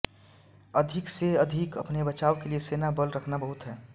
अधिकसेअधिक अपने बचाव के लिए सेनाबल रखना बहुत है